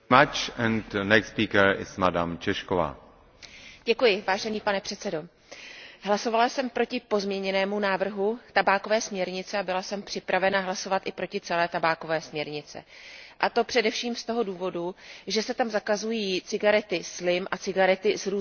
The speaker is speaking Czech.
Vážený pane předsedající, hlasovala jsem proti pozměněnému návrhu tabákové směrnice a byla jsem připravena hlasovat i proti celé tabákové směrnici, a to především z toho důvodu, že se tam zakazují cigarety slim a cigarety s různými příchutěmi a schovává se to dle mého názoru za